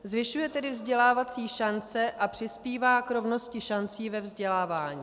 Zvyšuje tedy vzdělávací šance a přispívá k rovnosti šancí ve vzdělávání.